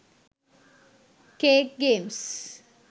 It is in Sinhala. cake games